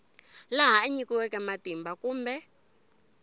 laha a nyikiweke matimba kumbe